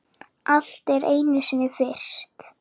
Allt er einu sinni fyrst.